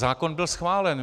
Zákon byl schválen.